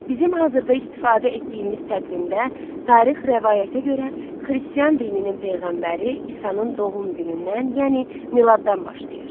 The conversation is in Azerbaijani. Bizim hazırda istifadə etdiyimiz təqvimdə tarix rəvayətə görə xristian dininin peyğəmbəri İsanın doğum günündən, yəni miladdan başlayır.